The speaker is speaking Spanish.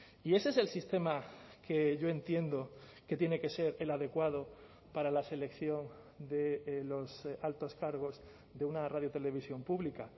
y ese es el sistema que yo entiendo que tiene que ser el adecuado para la selección de los altos cargos de una radio televisión pública